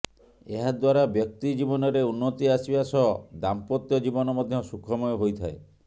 ଏହା ଦ୍ୱାରା ବ୍ୟକ୍ତି ଜୀବନରେ ଉନ୍ନତି ଆସିବା ସହ ଦାମ୍ପତ୍ୟ ଜୀବନ ମଧ୍ୟ ସୁଖମୟ ହୋଇଥାଏ